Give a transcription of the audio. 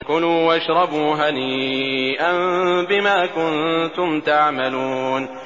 كُلُوا وَاشْرَبُوا هَنِيئًا بِمَا كُنتُمْ تَعْمَلُونَ